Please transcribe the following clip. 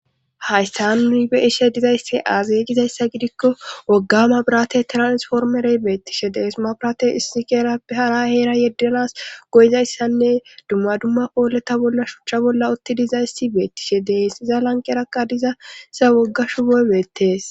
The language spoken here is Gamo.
haystan beishe dizayssi aaze gizayssa gidikko wogga birate tirasformerey beettishe deesuma birate issi geera hara heera yeddenas goyizayssanne dumma dumma pooleta bolla shuchcha bolla utti dizaysi beettishe deensiza lanqerakka dizasa woggashu woy beettees